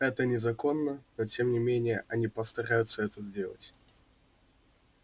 это незаконно но тем не менее они постараются это сделать